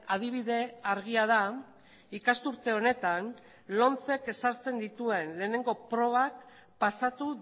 adibide argia da ikasturte honetan lomcek ezartzen dituen lehenengo probak pasatu